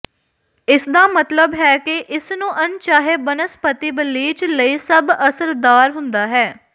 ਇਸਦਾ ਮਤਲਬ ਹੈ ਕਿ ਇਸ ਨੂੰ ਅਣਚਾਹੇ ਬਨਸਪਤੀ ਬਲੀਚ ਲਈ ਸਭ ਅਸਰਦਾਰ ਹੁੰਦਾ ਹੈ